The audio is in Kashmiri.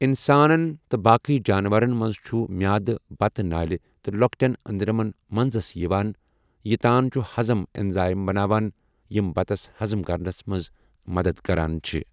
اِنسانَن تہٕ باقی جانوَرَن مَنٛز چھُ میٚادٕ بَتہٕ نٲلؠ تہٕ لۄکٹیَن أندرَمَن مَنزَس یِوان یہِ تان چھِ ہَضٕم اینزایِم بَناوَن یِم بَتَس ہَضٕم کَرنَس مَنٛز مَدَتھ کَران چھِ۔